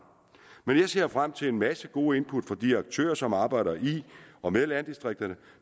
men jeg ser frem til en masse gode input fra de aktører som arbejder i og med landdistrikterne